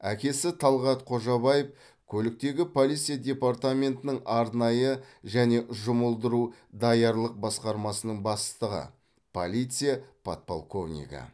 әкесі талғат қожабаев көліктегі полиция департаментінің арнайы және жұмылдыру даярлық басқармасының бастығы полиция подполковнигі